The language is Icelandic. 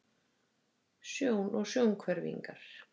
Sjón og sjónhverfingar.